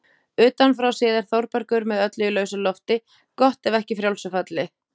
Utanfrá séð er Þórbergur með öllu í lausu lofti, gott ef ekki frjálsu falli.